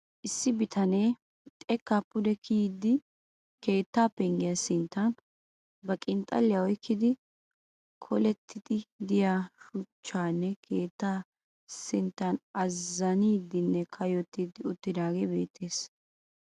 Issi bitanee xekkaa pude kiyidi keettay penggiya sinttan ba qinxxalliya oyikkidi kolettiiddi diya shuchcha keettaa sinttan azzaniiddinne kayyotyiiddi uttiidaagee beettes.